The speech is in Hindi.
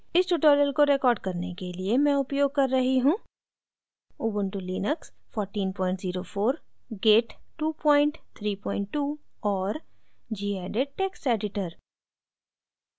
इस tutorial को record करने मैं उपयोग कर रही हूँ